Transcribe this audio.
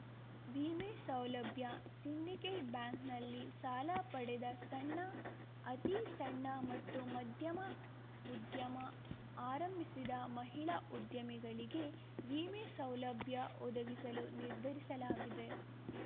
ವಿಮೆ ಸೌಲಭ್ಯ ಸಿಂಡಿಕೇಟ್‌ ಬ್ಯಾಂಕ್‌ನಲ್ಲಿ ಸಾಲ ಪಡೆದ ಸಣ್ಣ ಅತೀ ಸಣ್ಣ ಮತ್ತು ಮಧ್ಯಮ ಉದ್ಯಮ ಆರಂಭಿಸಿದ ಮಹಿಳಾ ಉದ್ಯಮಿಗಳಿಗೆ ವಿಮೆ ಸೌಲಭ್ಯ ಒದಗಿಸಲು ನಿರ್ಧರಿಸಲಾಗಿದೆ